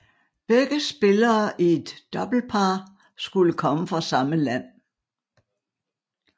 Begge spillere i et doublepar skulle komme fra samme land